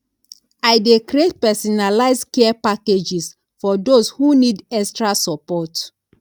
i dey create personalized care packages for those who need extra support